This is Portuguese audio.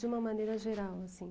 De uma maneira geral, assim.